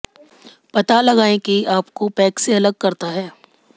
पता लगाएं कि आपको पैक से अलग करता है